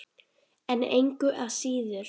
En engu að síður.